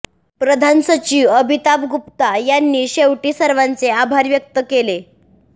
प्रधान सचिव अमिताभ गुप्ता यांनी शेवटी सर्वांचे आभार व्यक्त केले